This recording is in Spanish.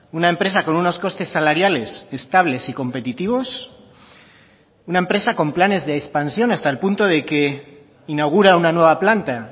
una empresa con unos costes salariales estables y competitivos una empresa con planes de expansión hasta el punto de que inaugura una nueva planta